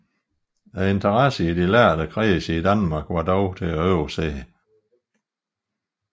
Interessen i de lærde kredse i Danmark var dog til at overse